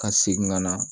Ka segin ka na